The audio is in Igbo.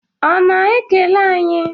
Ọ na-ekele anyị?